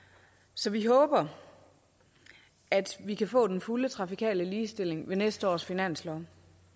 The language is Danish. så vi håber at vi kan få den fulde trafikale ligestilling i næste års finanslov